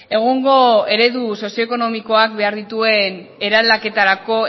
egungo eredu sozioekonomikoak behar dituen eraldaketarako